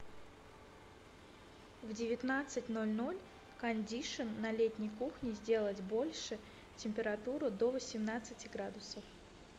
в девятнадцать ноль ноль кондишн на летней кухне сделать больше температуру до восемнадцати градусов